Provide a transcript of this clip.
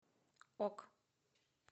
ок